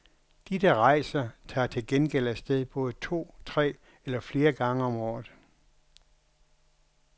De, der rejser, tager til gengæld afsted både to, tre eller flere gange om året.